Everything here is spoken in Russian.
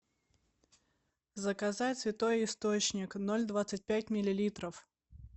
заказать святой источник ноль двадцать пять миллилитров